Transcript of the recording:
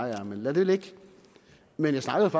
jeg er men lad det ligge men jeg snakkede